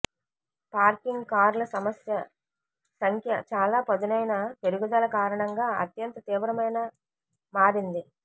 parking కార్ల సమస్య సంఖ్య చాలా పదునైన పెరుగుదల కారణంగా అత్యంత తీవ్రమైన మారింది